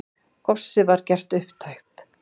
Góssið var gert upptækt.